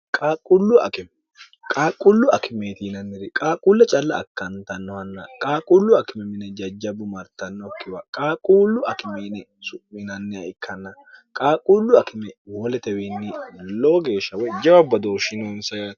qaaqqullu akimeetiinanniri qaaqulla calla akkantannohanna qaaqullu akime mine jajjabbu martannokkiwa qaaquullu akime ine su'minanniha ikkanna qaaqquullu akime woletewiinni lowo geeshsha woy jawabbadoo shinoonsa yato